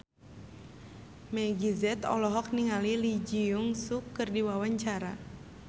Meggie Z olohok ningali Lee Jeong Suk keur diwawancara